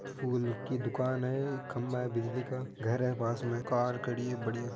फूल की दुकान है खंभा है बिजली का घर है पास मे कार खड़ी है बढ़िया।